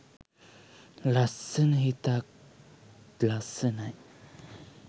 ලස්සන හිතත් ලස්සනයි.